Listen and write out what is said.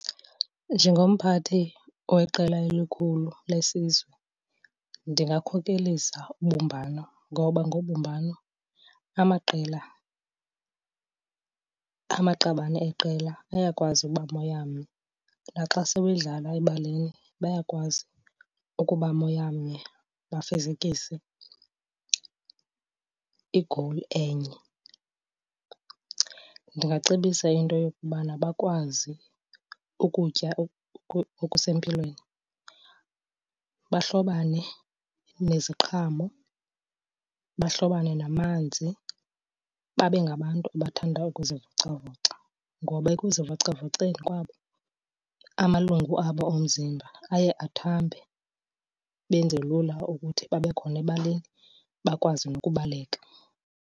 Njengomphathi weqela elikhulu lesizwe, ndingakhokelisa ubumbano ngoba ngobumbano amaqela, amaqabane eqela ayakwazi uba moyamnye. Naxa sewedlala ebaleni bayakwazi ukuba moyamnye bafezekise igowuli enye. Ndingacebisa into yokubana bakwazi ukutya okusempilweni. Bahlobane neziqhamo, bahlobane namanzi, babe ngabantu abathanda ukuzivocavoca. Ngoba ekuzivocavoceni kwabo, amalungu abo omzimba aye athambe benze lula ukuthi babe khona ebaleni bakwazi nokubaleka.